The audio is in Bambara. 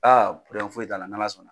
Aa foyi t'a la ,n'ala sɔnna.